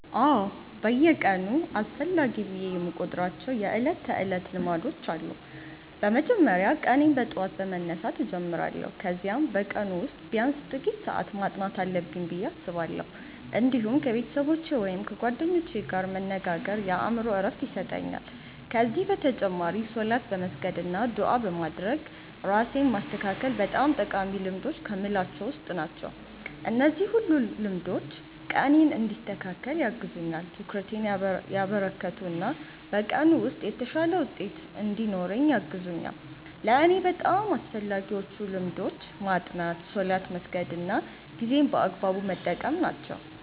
አዎ፣ በየቀኑ አስፈላጊ ብዬ የምቆጥራቸው የዕለት ተዕለት ልማዶች አሉ። በመጀመሪያ ቀኔን በጠዋት በመነሳት እጀምራለሁ፣ ከዚያም በቀኑ ውስጥ ቢያንስ ጥቂት ሰዓት ማጥናት አለብኝ ብዬ አስባለሁ። እንዲሁም ከቤተሰቦቼ ወይም ከጓደኞቼ ጋር መነጋገር የአእምሮ ዕረፍት ይሰጠኛል። ከዚህ በተጨማሪ ሶላት በመስገድ አና ዱዓ በማድረግ ራሴን ማስተካከል በጣም ጠቃሚ ልማዶች ከምላቸዉ ዉስጥ ናቸው። እነዚህ ሁሉ ልማዶች ቀኔን እንዲያስተካክል ያግዙኛል፣ ትኩረቴን ያበረከቱ እና በቀኑ ውስጥ የተሻለ ውጤት እንድኖረኝ ያግዙኛል። ለእኔ በጣም አስፈላጊዎቹ ልማዶች ማጥናት፣ ሶላት መስገድ እና ጊዜን በአግባቡ መጠቀም ናቸው።